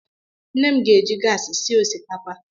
Nne m ga-eji gaasị sie osikapa.